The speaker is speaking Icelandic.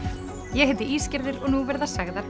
ég heiti Ísgerður og nú verða sagðar